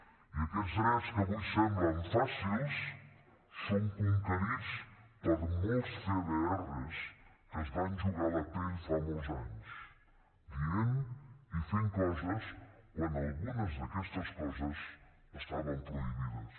i aquests drets que avui semblen fàcils són conquerits per molts cdrs que es van jugar la pell fa molts anys dient i fent coses quan algunes d’aquestes coses estaven prohibides